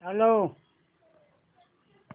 चालव